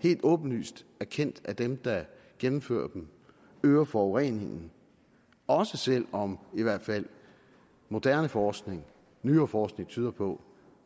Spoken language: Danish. helt åbenlyst erkendt af dem der gennemfører dem øger forureningen også selv om i hvert fald moderne forskning nyere forskning tyder på